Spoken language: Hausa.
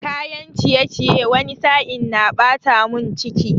Kayan ciyeciye wani sa'in na ɓata mun ciki